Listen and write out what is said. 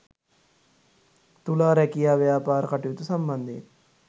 තුලා රැකියා ව්‍යාපාර කටයුතු සම්බන්ධයෙන්